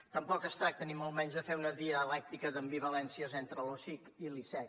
tampoc es tracta ni molt menys de fer una dialèctica d’ambivalències entre l’osic i l’icec